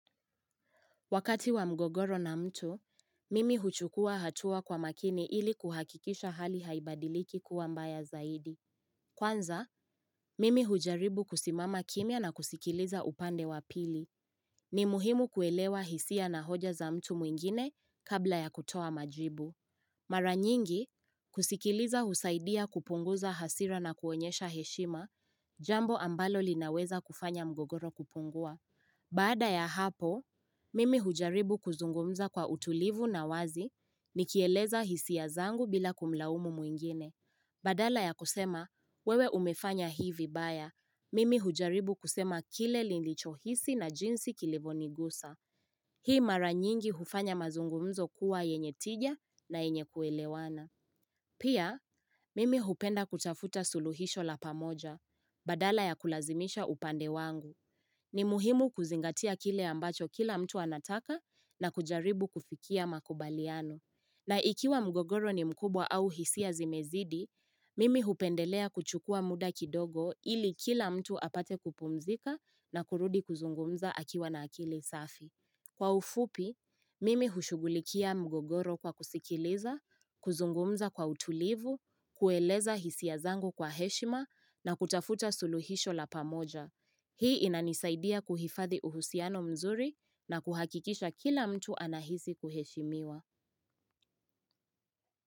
Wakati wa mgogoro na mtu, mimi huchukua hatua kwa makini ili kuhakikisha hali haibadiliki kuwa mbaya zaidi. Kwanza, mimi hujaribu kusimama kimia na kusikiliza upande wa pili. Ni muhimu kuelewa hisia na hoja za mtu mwingine kabla ya kutoa majribu. Mara nyingi, kusikiliza husaidia kupunguza hasira na kuonyesha heshima jambo ambalo linaweza kufanya mgogoro kupungua. Baada ya hapo, mimi hujaribu kuzungumza kwa utulivu na wazi ni kieleza hisia zangu bila kumlaumu mwingine. Badala ya kusema, wewe umefanya hii vibaya. Mimi hujaribu kusema kile nilicho hisi na jinsi kilivyo nigusa. Hii mara nyingi hufanya mazungumzo kuwa yenye tija na yenye kuelewana. Pia, mimi hupenda kutafuta suluhisho la pamoja. Badala ya kulazimisha upande wangu. Ni muhimu kuzingatia kile ambacho kila mtu anataka na kujaribu kufikia makubaliano. Na ikiwa mgogoro ni mkubwa au hisia zimezidi, mimi hupendelea kuchukua muda kidogo ili kila mtu apate kupumzika na kurudi kuzungumza akiwa na akili safi. Kwa ufupi, mimi hushughulikia mgogoro kwa kusikiliza, kuzungumza kwa utulivu, kueleza hisia zangu kwa heshima na kutafuta suluhisho la pamoja. Hii inanisaidia kuhifadhi uhusiano mzuri na kuhakikisha kila mtu anahisi kuheshimiwa.